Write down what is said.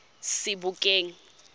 sebokeng